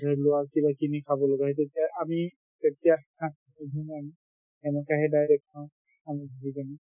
কিবাকিবি খাব লগীয়া হয় সেই তেতিয়া আমি হাত নুধু না আমি সেনেকে সেই direct খাওঁ ধুই কিনে